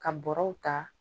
Ka bɔraw ta